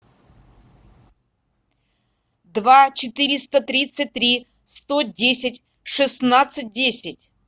два четыреста тридцать три сто десять шестнадцать десять